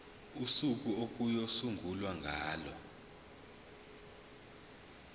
usuku okuyosungulwa ngalo